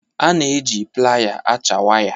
A na-eji playa acha waya.